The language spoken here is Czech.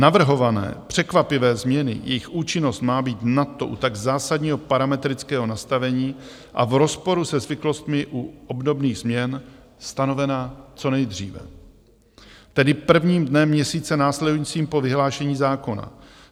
Navrhované, překvapivé změny, jejich účinnost má být nadto u tak zásadního parametrického nastavení a v rozporu se zvyklostmi u obdobných změn stanovena co nejdříve, tedy prvním dnem měsíce následujícího po vyhlášení zákona.